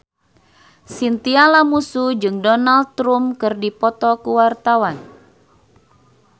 Chintya Lamusu jeung Donald Trump keur dipoto ku wartawan